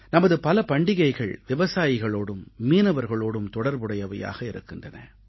நமது பல பண்டிகைகள் விவசாயிகளோடும் மீனவர்களோடும் தொடர்புடையவையாக இருக்கின்றன